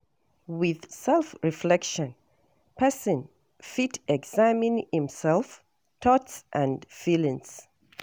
With self reflection person fit examine im self, thoughts and feelings